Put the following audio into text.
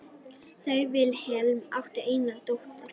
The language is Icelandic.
Þau Vilhelm áttu eina dóttur.